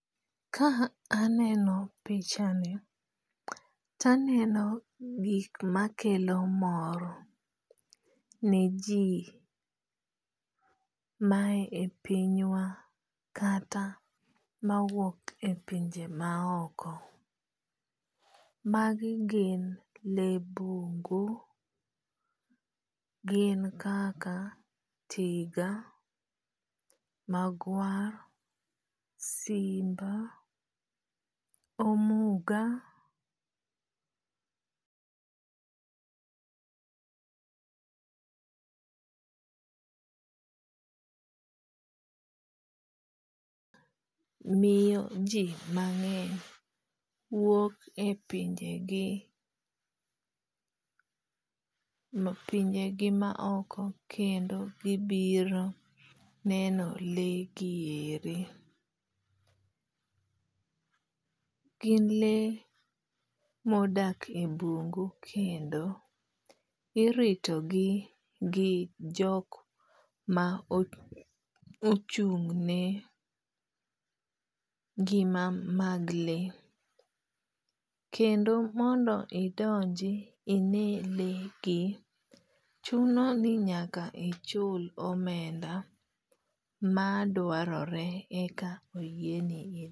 Ka aneno picha ni to aneno gik makelo mor ne ji ma e pinywa kata mawuok e pinje ma oko. Magi gin le bungu. Gin kaka tiga, magwar, simba, omuga miyo ji mang'eny wuok e pinje gi pinje gi ma oko kendo gibiro neno le gi eri. Gin le modak e bungu kendo irito gi gi jik mochung' ne ngima mag le. Kendo mondo idonji ine le gi, chuno ni nyaka ichul omenda madwarore eka oyie ni.